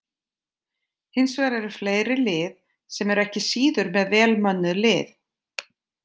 Hins vegar eru fleiri lið sem eru ekki síður með vel mönnuð lið.